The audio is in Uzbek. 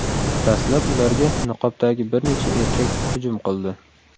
Dastlab ularga niqobdagi bir necha erkak hujum qildi.